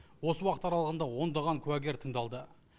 осы уақыт аралығында ондаған куәгер тыңдалды